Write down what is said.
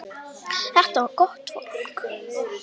Þetta var gott fólk.